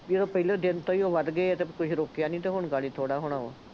ਜਦੋਂ ਪਹਿਲੇ ਦਿਨ ਤੋਂ ਹੀ ਉਹ ਵੱਧ ਗਏ ਅਤੇ ਤੁਸੀਂ ਰੋਕਿਆ ਨਹੀਂ ਅਤੇ ਹੁਣ ਥੋੜ੍ਹਾ ਹੋਣਾ ਵਾ,